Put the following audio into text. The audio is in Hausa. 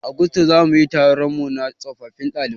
A gusto zamuyi taronmu na tsofaffin ɗalibai